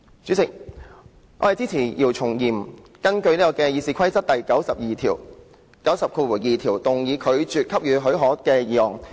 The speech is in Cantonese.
主席，我支持姚松炎議員根據《議事規則》第902條動議拒絕給予許可的議案。